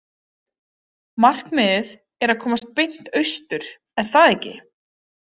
Markmiðið er að komast beint austur, er það ekki?